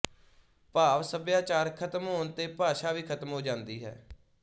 ਭਾਵ ਸਭਿਆਚਾਰ ਖਤਮ ਹੋਣ ਤੇ ਭਾਸ਼ਾ ਵੀ ਖਤਮ ਹੋ ਜਾਂਦੀ ਹੈ